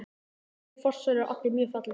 Þessir fossar eru allir mjög fallegir.